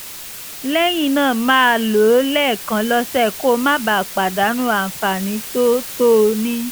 lẹ́yìn náà máa lò ó lẹ́ẹ̀kan lọ́sẹ̀ kó o má bàa pàdánù àǹfààní tó o tó o ní